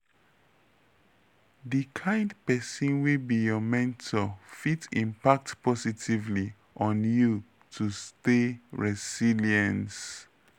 di kind pesin wey be your mentor fit impact positively on you to stay resilience.